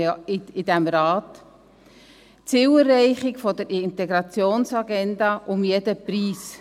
– Die Zielerreichung der Integrationsagenda um jeden Preis.